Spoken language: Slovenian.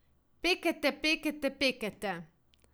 Pekete, pekete, pekete.